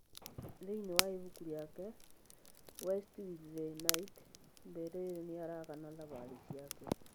Thĩinĩ wa ibuku rĩake, West with the Night, Beryl nĩ aaragana thabarĩ ciake.